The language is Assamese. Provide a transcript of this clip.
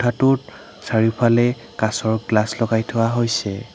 কোঠাটোত চাৰিওফালে কাঁচৰ গ্লাচ লগাই থোৱা হৈছে।